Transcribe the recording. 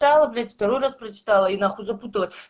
встала блять второй раз прочитала и нахуй запутала